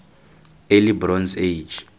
early bronze age